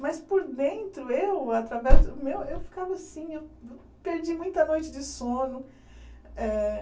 Mas por dentro, eu, através, meu eu ficava assim, eu perdi muita noite de sono. Eh